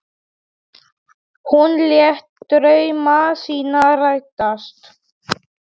Hún lét drauma sína rætast.